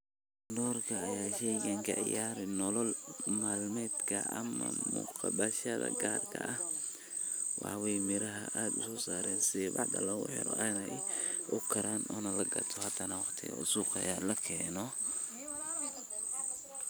Doorkee ayuu shaygani ka ciyaaraa nolol maalmeedka ama munaasabadaha gaarka ah, waxaa weyee miraahan aad ayey usosaaran sithii bacdaa logu xiro aad ukaran, onaa lagato waqtiga hadana suqa laakeno.